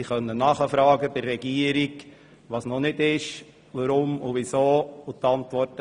Sie kann bei der Regierung nachfragen, wenn etwas fehlt, und die Fragen werden beantwortet.